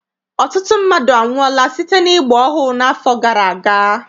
Ọtụtụ mmadụ anwụọla site n'ịgba ohu n'afọ gara aga.